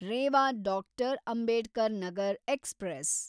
Rewa doctor. Ambedkar Nagar express